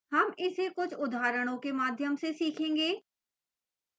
हम इसे कुछ उदाहरणों के माध्यम से सीखेंगे